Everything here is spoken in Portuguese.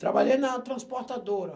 Trabalhei na transportadora.